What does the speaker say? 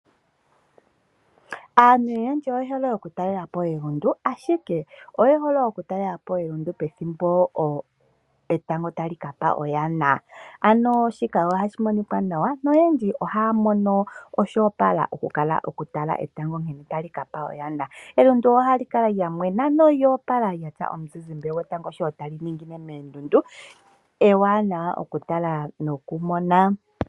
Aantu oyendji oye hole okutalela po elundu, ashike oye hole oku talela po elundu pethimbo etango ta li kapa oyana. Ano shika oha shi monika nawa noyendji ohaa mono oshoopala oku tala etango nkene ta li kapa oyana. Elundu oha li kala lyamwena nolyoopala lya tya omuzizimbe gwetango nkene ta li ningine meendundu, eewanawa okutala nokumona.